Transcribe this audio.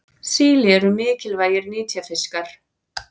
Síli eru mikilvægir nytjafiskar.